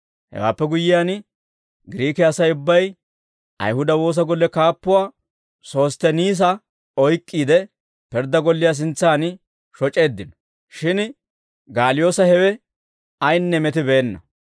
Hewaappe guyyiyaan, Giriike Asay ubbay Ayihuda woosa golle kaappuwaa Sostteniisa oyk'k'iide, pirddaa golliyaa sintsan shoc'eeddino; shin Gaaliyoosa hewe ayinne metibeenna.